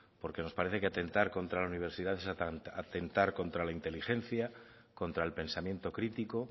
porque nos parece que atentar contra la universidad es atentar contra la inteligencia contra el pensamiento crítico